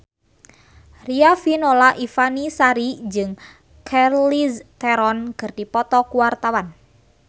Riafinola Ifani Sari jeung Charlize Theron keur dipoto ku wartawan